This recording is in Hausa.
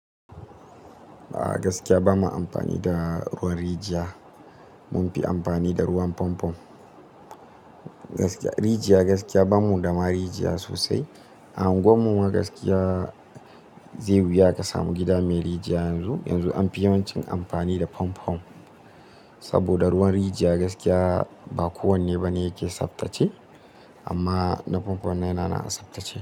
A gaskiya bama amfani da ruwan rijiya. Mun fi amfani da ruwan famfom. Rijiya gaskiya ba mu ga ma rijiya sosai. A anguwar mu ma gaskiya zai yi wuya ka samu gida mai rijiya yanzu. Yanzu an fi yawancin amfani da famfam. Saboda ruwan rijiya gaskiya ba kowanne ba ne yake tsaftace. Amma na famfon nan ya na nan tsaftace.